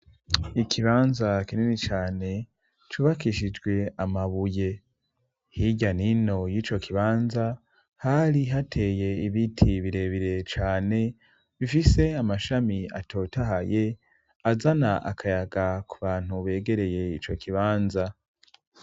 Ikibanza kinini canecubakishijwe amabuye. Hirya n'ino y'ico kibanza hari hateye ibiti birebire cane bifise amashami atotahaye azana akayaga ku bantu begereye ico kibanza.